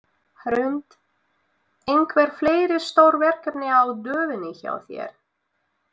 Hrund: Einhver fleiri stór verkefni á döfinni hjá þér?